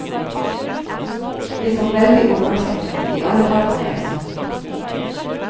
Det kom veldig overraskende, i alle fall på meg.